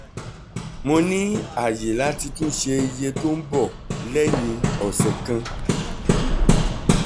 mo ní àyè láti tún ṣe iye tó ń bọ̀ lẹ́yìn ọ̀sẹ̀ kan